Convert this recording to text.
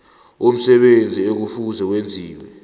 umsebenzi ekufuze wenziwe